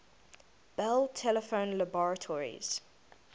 bell telephone laboratories